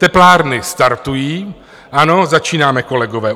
Teplárny startují, ano, začínáme, kolegové.